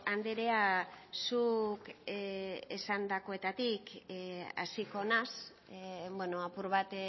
anderea zuk esandakoetatik hasiko naiz apur bat